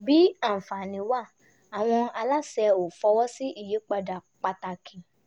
bí àǹfààní wà àwọn aláṣẹ ò fọwọ́ sí ìyípadà pàtàkì